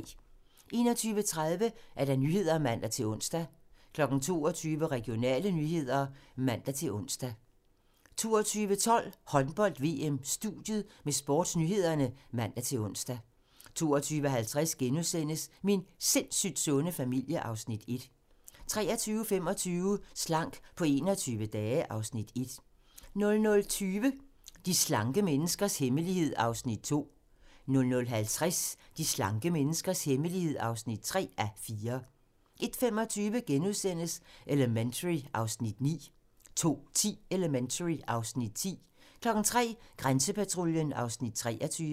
21:30: Nyhederne (man-ons) 22:00: Regionale nyheder (man-ons) 22:12: Håndbold: VM - studiet med sportsnyhederne (man-ons) 22:50: Min sindssygt sunde familie (Afs. 1)* 23:25: Slank på 21 dage (Afs. 1) 00:20: De slanke menneskers hemmelighed (2:4) 00:50: De slanke menneskers hemmelighed (3:4) 01:25: Elementary (Afs. 9)* 02:10: Elementary (Afs. 10) 03:00: Grænsepatruljen (Afs. 23)